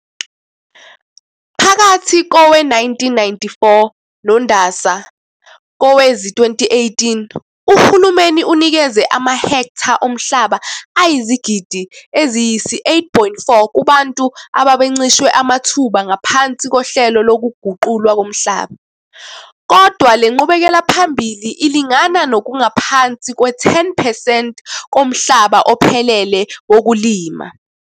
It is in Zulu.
Phakathi kowe-1994 noNdasa kowezi-2018 uhulumeni unikeze amahektha omhlaba ayizigidi eziyisi-8.4 kubantu abebencishwe amathuba ngaphansi kohlelo lokuguqulwa komhlaba. Kodwa le nqubekelaphambili ilingana nokungaphansi kwe-10 percent komhlaba ophelele wokulima.